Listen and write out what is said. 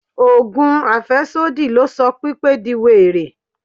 Ogùn afesodi ló sọ Pípé di were.